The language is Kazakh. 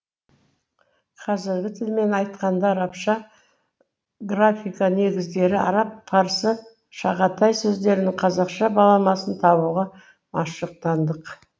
қазіргі тілмен айтқанда арабша графика негіздері араб парсы шағатай сөздерінің қазақша баламасын табуға машықтандық